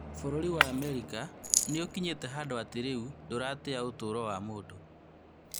Bũrũri wa Amerika nĩũkinyĩte handũ atĩ rĩu ndũratĩa ũtũro wa mũndũ